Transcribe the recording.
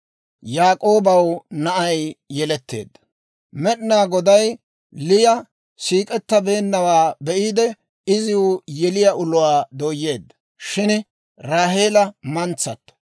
Med'inaa Goday Liya siik'ettabeennawaa be'iide, iziw yeliyaa uluwaa dooyeedda; shin Raaheela mantsato.